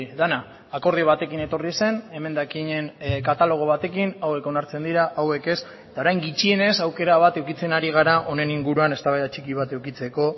dena akordio batekin etorri zen emendakinen katalogo batekin hauek onartzen dira hauek ez eta orain gutxienez aukera bat edukitzen hari gara honen inguruan eztabaida txiki bat edukitzeko